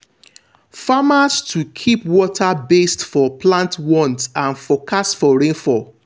farmers to keep water based for plant want and forcast for rainfall.